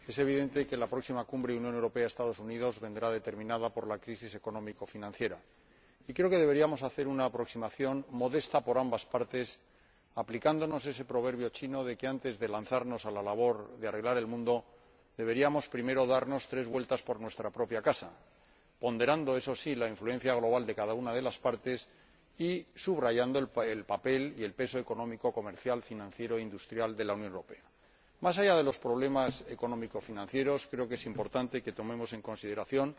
Señora Presidenta, señor Comisario, Señorías, es evidente que la próxima Cumbre Unión Europea Estados Unidos vendrá determinada por la crisis economicofinanciera. Y creo que deberíamos hacer una aproximación, modesta por ambas partes, aplicándonos ese proverbio chino de que, antes de lanzarnos a la labor de arreglar el mundo, deberíamos primero dar tres vueltas por nuestra propia casa, ponderando, eso sí, la influencia global de cada una de las partes y subrayando el papel y el peso económico, comercial, financiero e industrial de la Unión Europea. Más allá de los problemas economicofinancieros, creo que es importante que tomemos en consideración